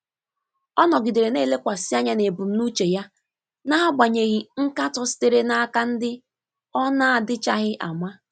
Ọ nọgidere na-elekwasị anya n'ebumnuche ya n'agbanyeghị nkatọ sitere n'aka ndị ọ na-adịchaghị ama.